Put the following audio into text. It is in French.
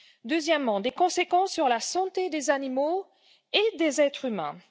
Deuxièmement, il a des conséquences sur la santé des animaux et des êtres humains.